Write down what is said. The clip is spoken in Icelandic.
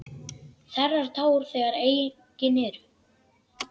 Þerrar tár þegar engin eru.